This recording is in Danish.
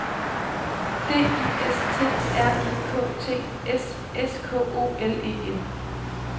D I S T R I K T S S K O L E N